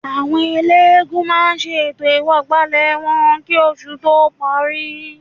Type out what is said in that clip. Àwọn eléégún máa ṣe ètò ìwọ̀gbàlẹ̀ wọn kì oṣù tó parí